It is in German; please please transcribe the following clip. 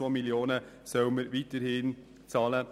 Die 4,3 Mio. Franken soll man weiterhin zahlen.